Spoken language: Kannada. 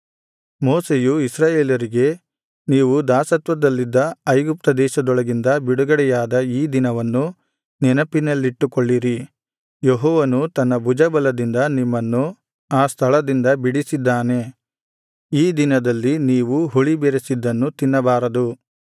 ಮೋಶೆಯು ಇಸ್ರಾಯೇಲರಿಗೆ ನೀವು ದಾಸತ್ವದಲ್ಲಿದ್ದ ಐಗುಪ್ತ ದೇಶದೊಳಗಿಂದ ಬಿಡುಗಡೆಯಾದ ಈ ದಿನವನ್ನು ನೆನಪಿನಲ್ಲಿಟ್ಟುಕೊಳ್ಳಿರಿ ಯೆಹೋವನು ತನ್ನ ಭುಜಬಲದಿಂದ ನಿಮ್ಮನ್ನು ಆ ಸ್ಥಳದಿಂದ ಬಿಡಿಸಿದ್ದಾನೆ ಈ ದಿನದಲ್ಲಿ ನೀವು ಹುಳಿಬೆರೆಸಿದ್ದನ್ನು ತಿನ್ನಬಾರದು